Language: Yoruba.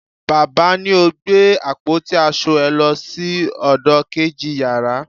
baba ni o gbe apoti asọ è lo sí ọdọ keji yara